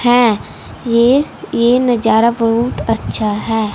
है इस ये नजारा बहुत अच्छा है।